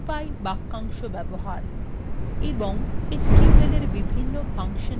এবং sqlএর বিভন্ন ফাংশান ব্যবহার